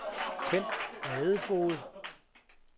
Ken Ladefoged